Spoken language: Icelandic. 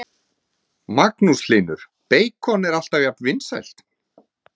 Magnús Hlynur: Beikon er alltaf jafnt vinsælt?